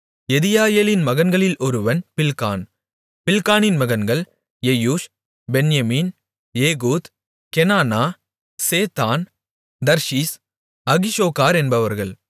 யெதியாயேலின் மகன்களில் ஒருவன் பில்கான் பில்கானின் மகன்கள் Jeush Benjamin Ehud Chenaanah Zethan Tharshish Ahishahar என்பவர்கள்